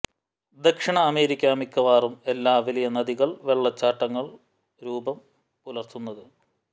ദക്ഷിണ അമേരിക്ക മിക്കവാറും എല്ലാ വലിയ നദികൾ വെള്ളച്ചാട്ടങ്ങളും രൂപം പുലർത്തുന്നത്